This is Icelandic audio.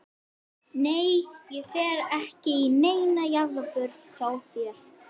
Nei ég fer ekki í neina jarðarför hjá þér.